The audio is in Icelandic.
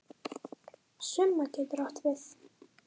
Summa getur átt við